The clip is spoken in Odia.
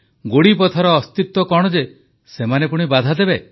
ଗୋଡ଼ିପଥର ଅସ୍ତିତ୍ୱ କଣ ଯେ ସେମାନେ ପୁଣି ବାଧା ଦେବେ